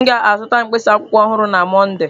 M ga-azụta mkpịsị akwụkwọ ọhụrụ na Mọnde.